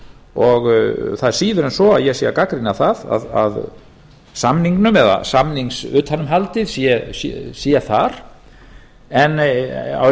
og það er síður en svo að ég sé að gagnrýna það að samningurinn eða samningsutanumhaldið sé þar en